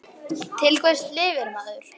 Til hvers lifir maður?